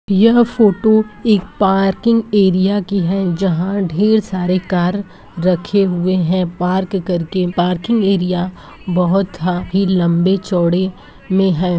यह फोटो एक parking area की है जहाँ ढेर सारे कार रखे हुए हैं पार्क करके। पार्किंग एरिया बहोत लम्बे- चौडे़ में है।